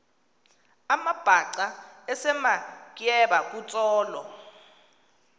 amabhaca esematyeba kutsolo